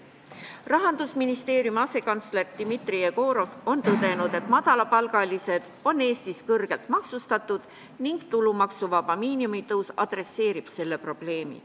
Rahandusministeeriumi asekantsler Dmitri Jegorov on tõdenud, et madalapalgalised on Eestis kõrgelt maksustatud ning tulumaksuvaba miinimumi tõus tegeleb selle probleemiga.